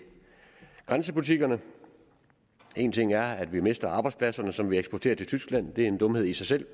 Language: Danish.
grænsebutikkerne en ting er at vi mister arbejdspladserne som vi eksporterer til tyskland det er en dumhed i sig selv